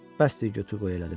Bəsdir, götür qoy elədim.